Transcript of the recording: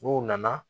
N'u nana